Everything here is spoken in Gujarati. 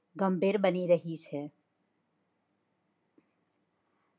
ગંભીર બની રહી છે.